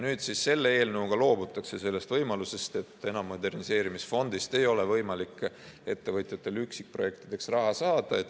Nüüd selle eelnõuga loobutakse sellest võimalusest, enam moderniseerimisfondist ei ole võimalik ettevõtjatel üksikprojektideks raha saada.